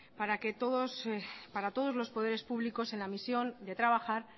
para todos los poderes públicos en la misión de trabajar